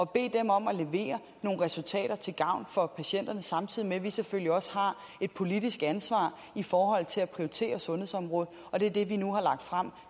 bede dem om at levere nogle resultater til gavn for patienterne samtidig med at vi selvfølgelig også har en politisk ansvar for at prioritere sundhedsområdet og det er det vi nu har lagt frem